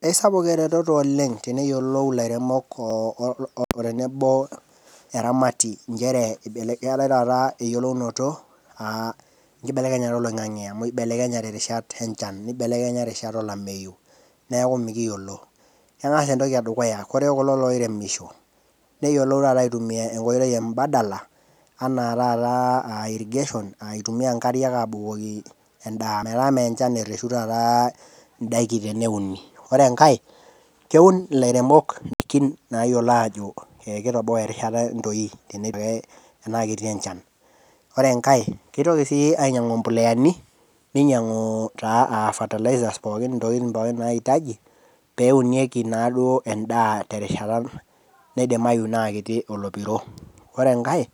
Esapuk ereteto oleng naa teneyiolou ilairemok otenebo incheree eatae iyeleounoto enkibelekenyata eloing'ang'e amu eibelekenyate irishat enchan, nebelekenya rishat olameiyu. Neaku mikiyiolo, enga entoki edukuya ore kulo loiremisho neyiolou taata aitumiya enkoitoi embadala anaa taata aa irrigation eitumiya inkariak aabukoki endaa, metaa mee enchan taata ereshu taata indaiki teneuni. Ore enkae keun ilairemok indaikin naayiolo aajo keitoboan rishata entoii tenaa ketii enchan. Ore enkae keitoki sii ainyang'u impoleani, neinyang'u taa aa fertilisers pookin ntokitin pookin naitaji peunieki naduo endaa te rishata naidimayu naa ketii olopiro. Ore enkae,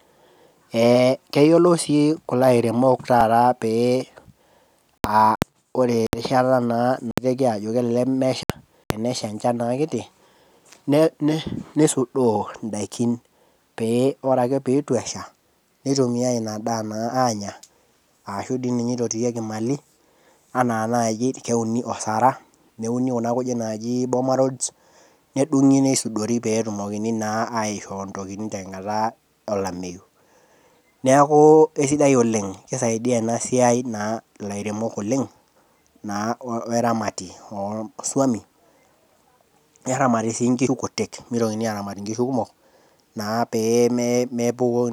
keyiolou sii kulo airemok taata pee aa kore rishata naa nadol keleleke emesha, nesha enshan naa kiti, neisudoo indaikin pee ore ake pee eitu esha, neitumiyai inadaa naa aanya, ashu dei ninye eitorieki emali anaa naaji keuni osara, keuni kuna kujit naaji boma rods nedung'i neisudori peeetumokini naa aishoo intokitin tenkata elameiyu. Neaku esidai oleng ,eisaidia ena siai naa ilairemok oleng naa o eramati osuomi, neramati sii inkishu kutiik, meitokini aaramat inkishu kumok pee mee.